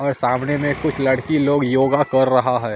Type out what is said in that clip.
और सामने में कुछ लड़की लोग योगा कर रहा है।